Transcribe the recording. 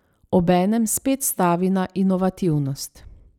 Obenem spet stavi na inovativnost.